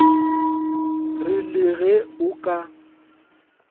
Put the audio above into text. re le ge o ka